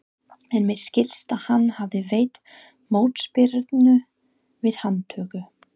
En mér skilst að hann hafi veitt mótspyrnu við handtöku.